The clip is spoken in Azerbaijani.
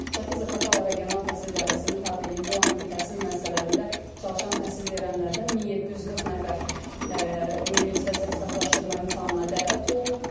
Şəki Zaqatala regional təhsil idarəsinin tabeliyində olan ümumi təhsil müəssisələrində çalışan təhsil verənlərdən 1740 nəfər ümumilikdə sertifikatlaşdırma imtahanlarına dəvət olunub.